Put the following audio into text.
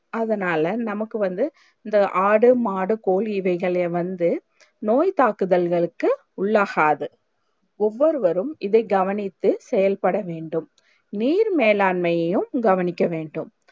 அதனால நமக்கு வந்து இந்த ஆடு மாடு கோழி இதைகளே வந்து நோய் தாக்குதல்களுக்கு உள்ளாகாது ஒவ்வொருவரும் இதை கவனித்து செயல் பட வேண்டும் நீர் மேலாண்மையும் கவனிக்க வேண்டும்